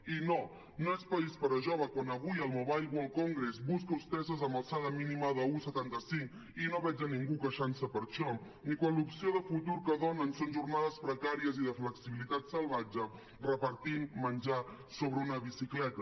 i no no és país per a joves quan avui el mobile world congress busca hostesses amb alçada mínima d’un coma setanta cinc i no veig a ningú queixant se per això ni quan l’opció de futur que donen són jornades precàries i de flexibilitat salvatge repartint menjar sobre una bicicleta